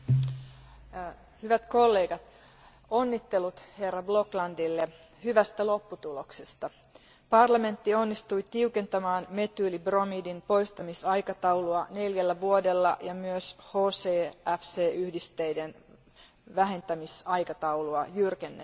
Arvoisa puhemies, hyvät kollegat, onnittelut herra Bloklandille hyvästä lopputuloksesta. Parlamentti onnistui tiukentamaan metyylibromidin poistamisaikataulua neljällä vuodella, ja myös HCFC yhdisteiden vähentämisaikataulua jyrkennettiin.